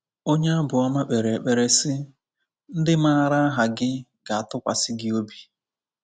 Onye Abụọma kpere ekpere sị: “ Ndị maara aha gi ga-atụkwasị gi obi."